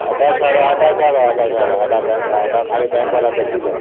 ଏଇଟା ଛାଡ ଏଇଟା bank ବାଲା ଖାଲି ଦେଖିବେ